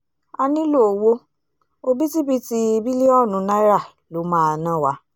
a nílò owó òbítíbitì bílíọ̀nù náírà ló máa ná wa